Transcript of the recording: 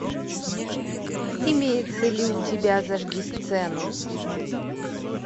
имеется ли у тебя зажги сцену